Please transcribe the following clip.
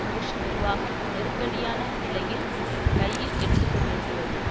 push நிர்வாகம் நெருக்கடியான நிலையில் கையில் எடுத்துக்கொண்டிருக்கிறது